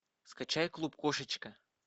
скачай клуб кошечка